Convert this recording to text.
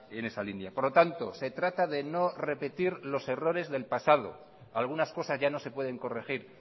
en esa línea por lo tanto se trata de no repetir los errores del pasado algunas cosas ya no se pueden corregir